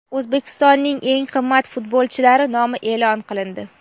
O‘zbekistonning eng qimmat futbolchilari nomi e’lon qilindi.